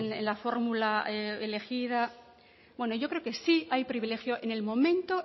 en la fórmula elegida bueno yo creo que sí hay privilegio en el momento